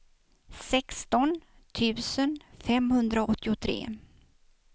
sexton tusen femhundraåttiotre